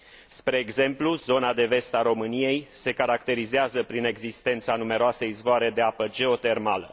Spre exemplu, zona de vest a României se caracterizează prin existența a numeroase izvoare de apă geotermală.